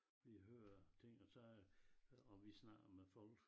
Vi hører ting og sager og vi snakker med folk